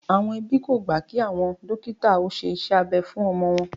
Àwọn ẹbí kò gbà kí àwọn dókítà ó ṣe iṣẹ́ abẹ fún ọmọ wọn